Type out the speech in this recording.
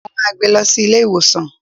Mo máa gbé lọ sí ilé ìwòsàn.